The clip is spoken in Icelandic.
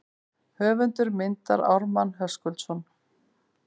Höfundur myndar Ármann Höskuldsson.